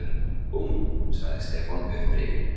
Búmm! sagði Stefán upprifinn.